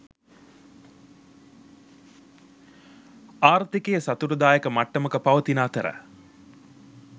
ආර්ථිකය සතුටුදායක මට්ටමක පවතින අතර